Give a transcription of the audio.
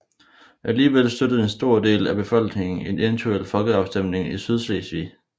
Alligevel støttede en stor del af befolkningen en eventuel folkeafstemning i Sydslesvig